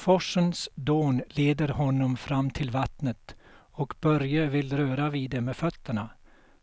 Forsens dån leder honom fram till vattnet och Börje vill röra vid det med fötterna,